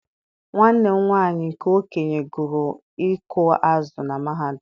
Nwanne m nwanyị nke okenye gụrụ ịkụ azụ̀ na mahadum.